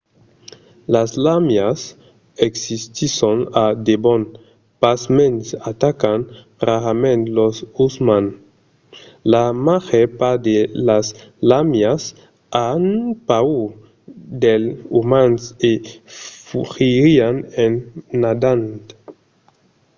las làmias existisson a debon pasmens atacan rarament los umans. la màger part de las làmias an paur dels umans e fugirián en nadant